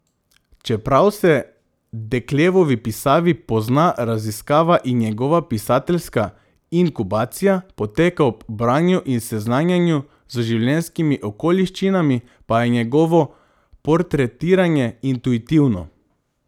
Čeprav se Deklevovi pisavi pozna raziskava in njegova pisateljska inkubacija poteka ob branju in seznanjanju z življenjskimi okoliščinami, pa je njegovo portretiranje intuitivno.